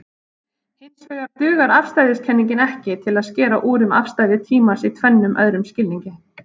Hinsvegar dugar afstæðiskenningin ekki til að skera úr um afstæði tímans í tvennum öðrum skilningi.